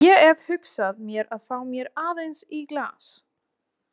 Ég hef hugsað mér að fá mér aðeins í glas.